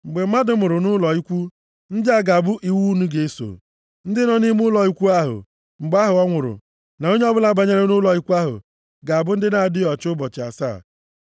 “Mgbe mmadụ nwụrụ nʼụlọ ikwu, ndị a ga-abụ iwu unu ga-eso. Ndị nọ nʼime ụlọ ikwu ahụ mgbe ọ nwụrụ na onye ọbụla banyere nʼụlọ ikwu ahụ, ga-abụ ndị na-adịghị ọcha ụbọchị asaa.